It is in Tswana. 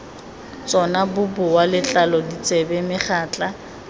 tsona boboa letlalo ditsebe megatla